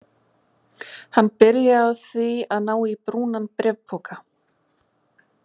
Hann byrjaði á því að ná í brúnan bréfpoka.